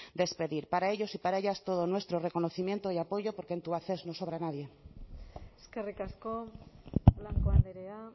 despedir para ellos y para ellas todo nuestro reconocimiento y apoyo porque en tubacex no sobra nadie eskerrik asko blanco andrea